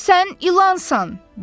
Sən ilansan!